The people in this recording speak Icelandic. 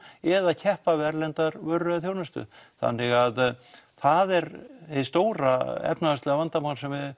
eða keppa við erlendar vörur eða þjónustu þannig það er hið stóra efnahagslega vandamál sem við